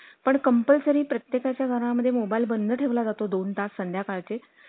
पण compulsory प्रत्येका चा घरा म्हणजे mobile बंद ठेवला जातो संध्याकाळ ची